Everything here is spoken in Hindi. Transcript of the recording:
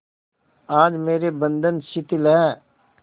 आज मेरे बंधन शिथिल हैं